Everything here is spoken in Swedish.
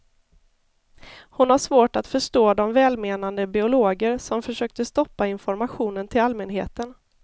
Hon har svårt att förstå de välmenande biologer som försökte stoppa informationen till allmänheten.